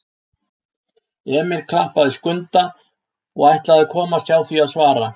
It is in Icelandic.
Emil klappaði Skunda og ætlaði að komast hjá því að svara.